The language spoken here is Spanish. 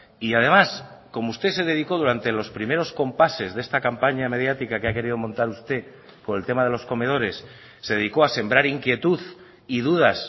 y además como usted se dedicó durante los primeros compases de esta campaña mediática que ha querido montar usted por el tema de los comedores se dedicó a sembrar inquietud y dudas